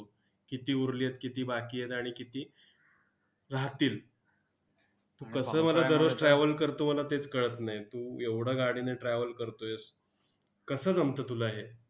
किती उरली आहेत, किती बाकी आहेत, आणि किती राहतील. तू कसं बरं रोज travel करतो, मला तेच कळत नाही. तू एवढा गाडीने travel करतोयस, कसं जमतं तुला हे?